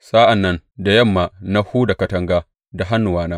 Sa’an nan da yamma na huda katanga da hannuwana.